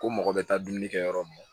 Ko mɔgɔ bɛ taa dumuni kɛ yɔrɔ min na